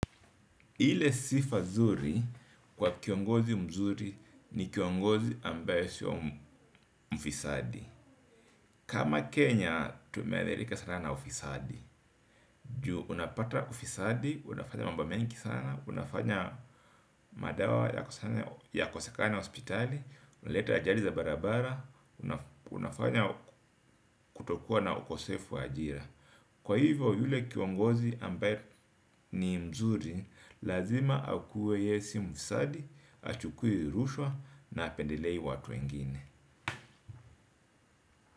Ile sifa nzuri kwa kiongozi mzuri ni kiongozi ambaye sio mfisadi. Kama Kenya, tumeadhirika sana na ufisadi. Juu unapata ufisadi unafanya mambo mengi sana. Unafanya madawa yakosekane hospitali, unaleta ajali za barabara, unafanya kutokuwa na ukosefu wa ajira. Kwa hivyo, yule kiongozi ambaye ni mzuri lazima akuwe ye si mfisadi, hachukui rushwa na hapendelei watu wengine.